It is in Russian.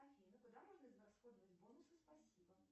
афина куда можно израсходовать бонусы спасибо